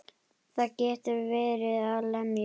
Það getur verið að lemja.